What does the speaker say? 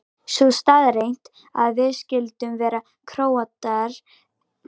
Sú staðreynd að við skyldum vera Króatar gerði þetta ennþá skemmtilegra.